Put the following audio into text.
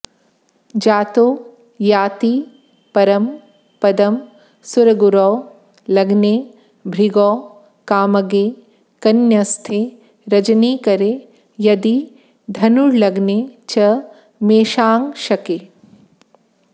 जातो याति परं पदं सुरगुरौ लग्ने भृगौ कामगे कन्यस्थे रजनीकरे यदि धनुर्लग्ने च मेषांशके